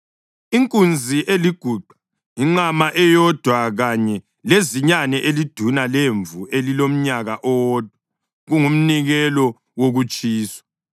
inkunzi eliguqa, inqama eyodwa kanye lezinyane eliduna lemvu elilomnyaka owodwa, kungumnikelo wokutshiswa;